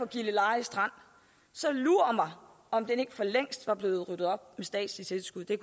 gilleleje strand så lur mig om ikke den for længst var blevet ryddet op med statslige tilskud det